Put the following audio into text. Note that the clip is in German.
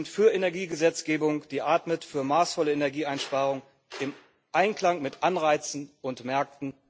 Wir sind für Energiegesetzgebung, die atmet, für maßvolle Energieeinsparung im Einklang mit Anreizen und Märkten.